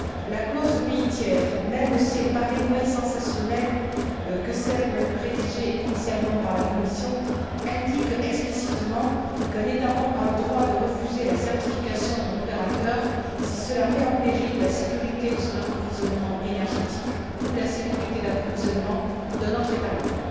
La clause pays tiers, même si elle paraît moins sensationnelle que celle rédigée initialement par la Commission, indique explicitement qu'un État membre a le droit de refuser la certification d'un opérateur si cela met en péril la sécurité de son approvisionnement énergétique ou la sécurité d'approvisionnement d'un autre État membre.